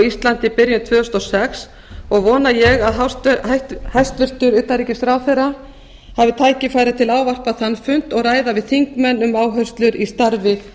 íslandi í byrjun tvö þúsund og sex og vona ég að hæstvirtur utanríkisráðherra hafi tækifæri til að ávarpa þann fund og ræða við þingmenn um áherslur í starfi